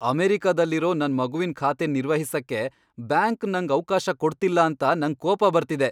ಅಮೆರಿಕದಲ್ಲಿರೋ ನನ್ ಮಗುವಿನ್ ಖಾತೆನ್ ನಿರ್ವಹಿಸಕ್ಕೆ ಬ್ಯಾಂಕ್ ನಂಗ್ ಅವ್ಕಾಶ ಕೊಡ್ತಿಲ್ಲ ಅಂತ ನಂಗ್ ಕೋಪ ಬರ್ತಿದೆ.